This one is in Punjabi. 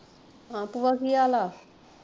ਹਾਂ ਕੀ ਹਾਲ ਆ?